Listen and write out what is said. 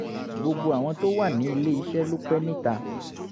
gbogbo àwọn tó wà ní ilé iṣẹ́ ló pẹ́ níta